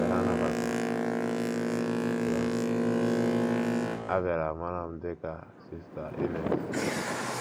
Mgbe ha nabatara ya, a bịara mara m dị ka Sista Ines.